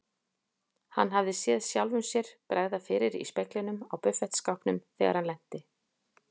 Hann hafði séð sjálfum sér bregða fyrir í speglinum á buffetskápnum þegar hann lenti.